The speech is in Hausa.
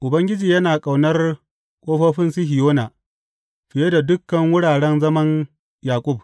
Ubangiji yana ƙaunar ƙofofin Sihiyona fiye da dukan wuraren zaman Yaƙub.